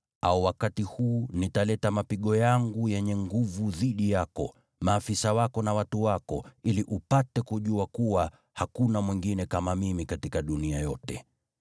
au wakati huu nitaleta mapigo yangu yenye nguvu dhidi yako, maafisa wako na watu wako, ili upate kujua kuwa hakuna mwingine kama Mimi katika dunia yote.